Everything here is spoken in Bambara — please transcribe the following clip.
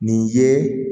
Nin ye